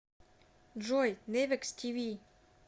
джой невекс ти ви